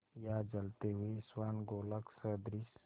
या जलते हुए स्वर्णगोलक सदृश